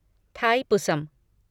Thaipusam